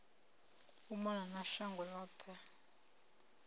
u mona na shango yoṱhe